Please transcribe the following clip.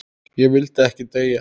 Ég vildi ekki deyja.